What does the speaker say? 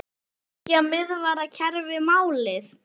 Er þriggja miðvarða kerfi málið?